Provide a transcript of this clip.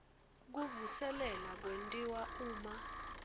kuvuselela kwentiwa uma